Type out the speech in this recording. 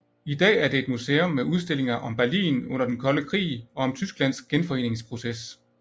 I dag er det et museum med udstillinger om Berlin under den kolde krig og om Tysklands genforeningsproces